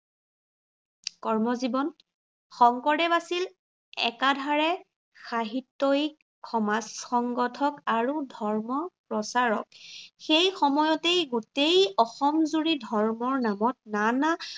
কৰ্মজীৱন, শংকৰদেৱ আছিল একাধাৰে সাহিত্য়য়িক, সমাজ সংগঠক আৰু ধৰ্ম প্ৰচাৰক। সেই সময়তে গোটেই অসম জুৰি ধৰ্মৰ নামত না না